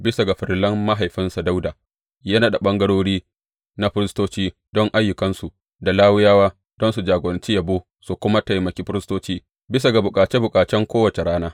Bisa ga farillar mahaifinsa Dawuda, ya naɗa ɓangarori na firistoci don ayyukansu da Lawiyawa don su jagoranci yabo su kuma taimaki firistoci bisa ga bukace bukacen kowace rana.